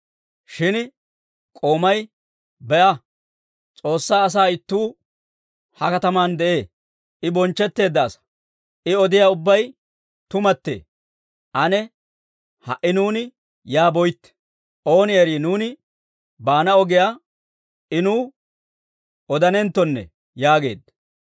Shin k'oomay, «Be'a! S'oossaa asaa ittuu ha kataman de'ee. I bonchchetteedda asaa; I odiyaa ubbabay tumattee. Ane ha"i nuuni yaa boytte; ooni erii nuuni baana ogiyaa I nuw odanenttonne» yaageedda.